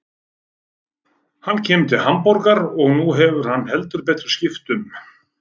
Hann kemur til Hamborgar og nú hefur heldur betur skipt um.